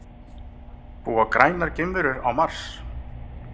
Búa grænar geimverur á Mars?